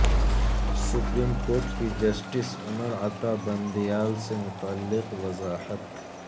supreme court کی justice Umar Ata Bandial سے متعلق وضاحت